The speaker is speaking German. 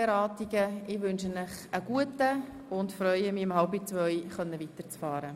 Ich wünsche Ihnen einen guten Appetit und freue mich, hier um 13.30 Uhr weiterzufahren.